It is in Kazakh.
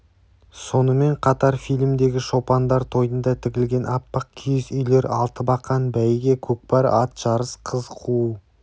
сонымен қатар фильмдегі шопандар тойында тігілген аппақ киіз үйлер алтыбақан бәйге көкпар ат жарыс қыз қуу